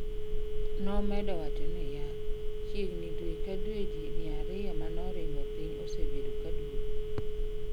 Nomedo waco ni yaa, "chiegni due ka due jii 200 manoringo piny osebedo kaduogo